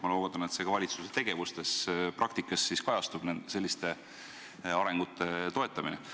Ma loodan, et selliste arengute toetamine kajastub ka valitsuse tegevuspraktikas.